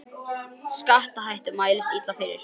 Skattahækkun mælist illa fyrir